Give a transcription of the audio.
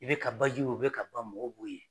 I be ka baji o bɛ ka ban mɔgɔw b'u ye